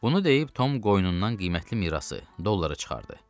Bunu deyib Tom qoynundan qiymətli mirası, dolları çıxartdı.